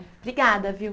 Obrigada, viu?